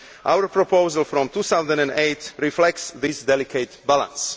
Our proposal from 2008 reflects this delicate balance.